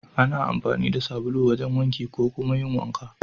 Ana amfani da sabulu wajen wanki ko kuma yin wanka.